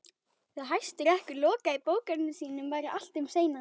Þegar Hæstiréttur lokaði bókum sínum væri allt um seinan.